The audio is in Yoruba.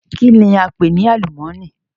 Kìíní a ń pè ní àlùmọ́nì?